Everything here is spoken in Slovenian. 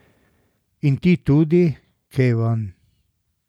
In ti tudi, Kevan.